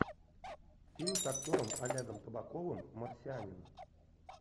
фильм с актером олегом табаковым марсианин